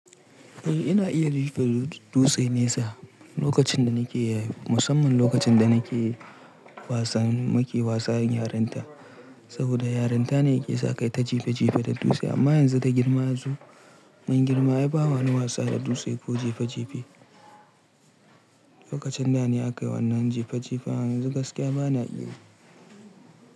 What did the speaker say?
Eh ina iya jefa dutse nesa lokacin da nake musamman lokacin da nake wasan muke wasan yarinta, saboda yarinta ne ke sa kai ta jife jife da dutse amma yanzu da girma yazo ban girma ai ba wani wasa da dutse ko jife jife. Lokacin da ne aka yi wannan jife jifen yanzu gaskiya bana iya yi.